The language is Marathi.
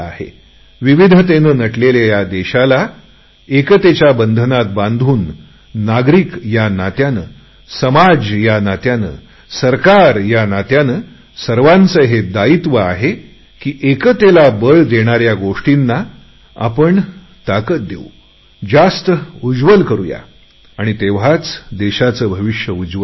विविधतेने नटलेल्या या देशाला एकतेच्या बंधनात बांधून नागरिक या नात्याने समाज या नात्याने सरकार या नात्याने सर्वांचे हे दायित्व आहे की एकतेला बळ देणाऱ्या गोष्टींना आपण ताकत देऊ आणि तेव्हाच देशाच भविष्य उज्ज्वल होईल